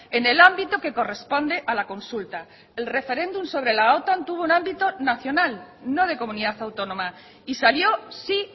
en el ámbito que corresponde a la consulta el referéndum sobre la otan tuvo un ámbito nacional no de comunidad autónoma y salió sí